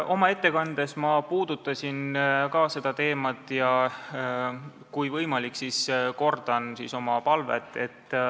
Oma ettekandes ma puudutasin ka seda teemat ja kui võimalik, siis kordan oma palvet.